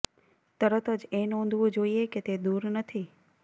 તરત જ એ નોંધવું જોઈએ કે તે દૂર નથી